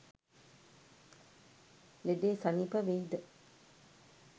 ලෙඩෙ සනීප වෙයිද?